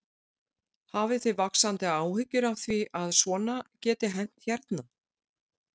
Hafið þið vaxandi áhyggjur af því að svona geti hent hérna?